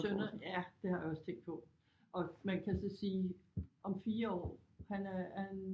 Sønner ja det har jeg også tænkt på og man kan så sige om 4 år han er han